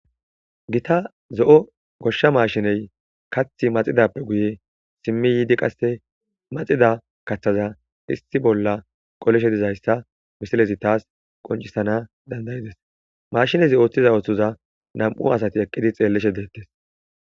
gita zo7o goshsha maashiney kathi maxidappe guye simmi yiidi qasse maxida kaththaza issi bolla qolishe dizayssa misilezi taas qoncisana dandayides mashinezi ooththiza ooththuza nam7u asati eqqidi xeellishe deettes